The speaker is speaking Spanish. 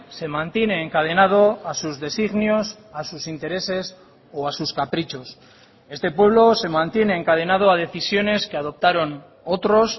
se mantiene encadenado a sus designios a sus intereses o a sus caprichos este pueblo se mantiene encadenado a decisiones que adoptaron otros